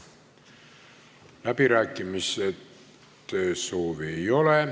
Läbirääkimiste soovi ei ole.